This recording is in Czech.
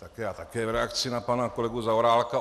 Tak já také v reakci na pana kolegu Zaorálka.